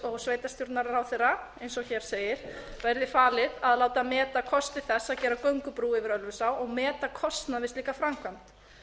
og sveitarstjórnarráðherra eins og hér segir verði falið að láta meta kosti þess að gera göngubrú yfir ölfusá og meta kostnað við slíka framkvæmd